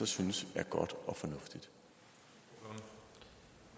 synes det er godt og